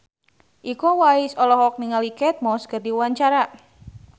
Iko Uwais olohok ningali Kate Moss keur diwawancara